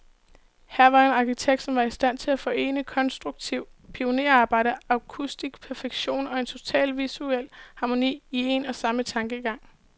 Her var en arkitekt, som var i stand til at forene konstruktivt pionerarbejde, akustisk perfektion, og en total visuel harmoni, i en og samme tankegang.